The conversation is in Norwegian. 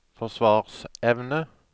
forsvarsevne